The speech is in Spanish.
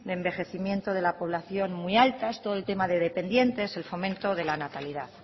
de envejecimiento de la población muy altas todo el tema de dependientes y el fomento de la natalidad